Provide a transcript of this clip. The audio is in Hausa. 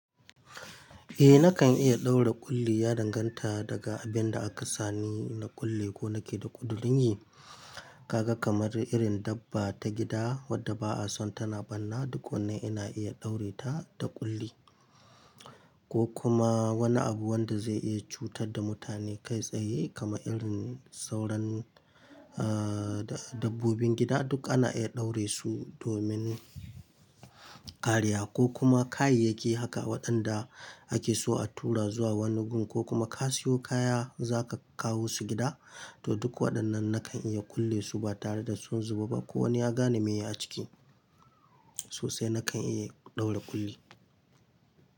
Eh nakan iya ɗaura ƙulli, ya danganta daga abinda aka sani na ƙulle ko nake da ƙudurin yi. Kaga kamar irin dabba ta gida wadda ba'a so tana barna duk wannan ina iya ɗaure ta da ƙulli ko kuma wani abu wanda zai iya cutar da mutane kai tsaye kama irin sauran dabbobin gida duk ana iya ɗaure su domin kariya ko kuma kayayyaki haka waɗanda ake so a tura zuwa wani gun ko kuma ka siyo kaya zaka kawo su gida to duk waɗannan nakan iya ƙulle su ba tare da son su ba ko wani ya gane me a ciki sosai nakan iya ɗaura ƙulli.